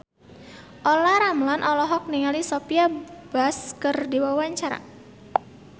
Olla Ramlan olohok ningali Sophia Bush keur diwawancara